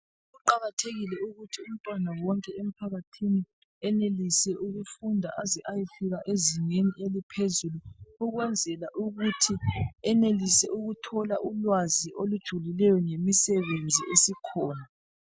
Kuqakathekile ukuthi umntwana wonke emphakathini, enelise ukufunda aze ayefika ezingeni eliphezulu ukwenzela ukuthi enelise ukuthola ulwazi olujulileyo ngemisebenzi esikhona.